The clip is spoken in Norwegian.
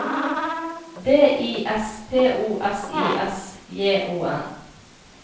D I S P O S I S J O N